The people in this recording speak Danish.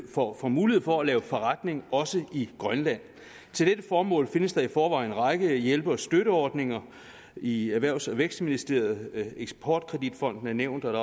får mulighed for at lave forretning også i grønland til dette formål findes der i forvejen en række hjælpe og støtteordninger i erhvervs og vækstministeriet eksport kredit fonden er nævnt